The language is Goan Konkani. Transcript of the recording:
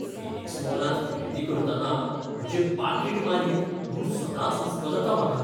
फिनिक्स मॉलांत खरेदी करतना म्हजें पाकीट मारीत म्हूण सदांच हुसको जाता म्हाका.